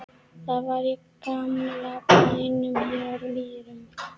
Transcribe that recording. Það var í gamla bænum hér á Mýrum.